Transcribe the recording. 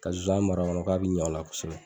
Ka nsonsan mara a kɔnɔ k'a bɛ ɲɛ o la kosɛbɛ